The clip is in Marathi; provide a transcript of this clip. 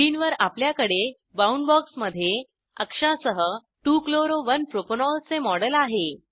स्क्रिनवर आपल्याकडे बाऊंड बॉक्समध्ये अक्षासह 2 chloro 1 प्रोपॅनॉल चे मॉडेल आहे